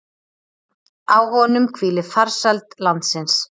Á honum hvíli farsæld landsins.